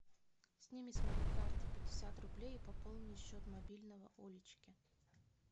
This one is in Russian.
сними с моей карты пятьдесят рублей и пополни счет мобильного олечки